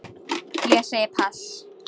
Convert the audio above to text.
Ég segi pass.